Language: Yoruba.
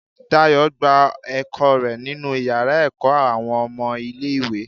Dayo gbà ẹkọ rẹ nínú iyàrá ẹkọ awọn ọmọ ilẹ̀ ìwé